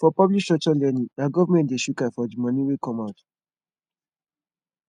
for public structured learning na government de shook eye for di moni wey come out